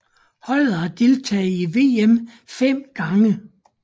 Holdet har deltaget i VM 5 gange